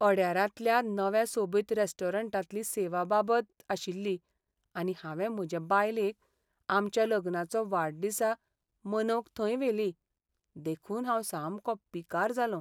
अड्यारांतल्या नव्या सोबीत रॅस्टोरंटांतली सेवा बाबत आशिल्ली आनी हांवें म्हजे बायलेक आमच्या लग्नाचो वाडदिसा मनवंक थंय व्हेली, देखून हांव सामको पिकार जालों.